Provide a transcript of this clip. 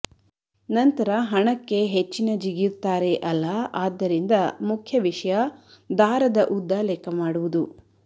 ನಂತರ ಹಣಕ್ಕೆ ಹೆಚ್ಚಿನ ಜಿಗಿಯುತ್ತಾರೆ ಅಲ್ಲ ಆದ್ದರಿಂದ ಮುಖ್ಯ ವಿಷಯ ದಾರದ ಉದ್ದ ಲೆಕ್ಕ ಮಾಡುವುದು